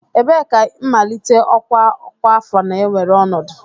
Ebee ka mmalite ọkwa ọkwa afọ na-ewere ọnọdụ?